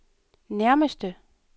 nærmeste